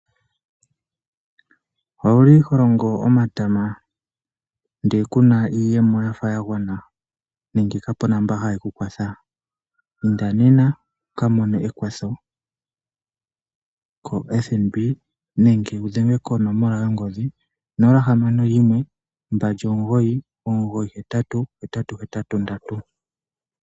Ouli holongo omatama nde kuna iiyemo ya gwana nenge kapu na mboka haye kukwatha inda nena wukamone ekwatho koFNB nenge wudhenge konomola yongodhi 0612998883.